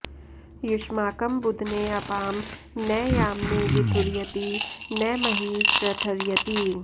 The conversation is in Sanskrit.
युष्माकं बुध्ने अपां न यामनि विथुर्यति न मही श्रथर्यति